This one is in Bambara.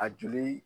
A joli